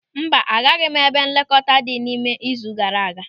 Mba, agaghị m ebe nlekọta ndị dị ịme izu gaara aga.